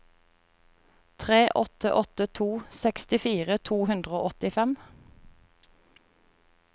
tre åtte åtte to sekstifire to hundre og åttifem